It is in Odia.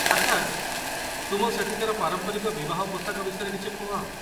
ଆଚ୍ଛା, ତୁମ ସେଠିକାର ପାରମ୍ପରିକ ବିବାହ ପୋଷାକ ବିଷୟରେ କିଛି କୁହ